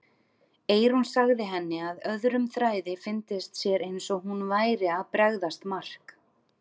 Eyrún sagði henni að öðrum þræði fyndist sér eins og hún væri að bregðast Mark.